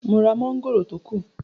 Mo ra mọ́ngòrò tó kù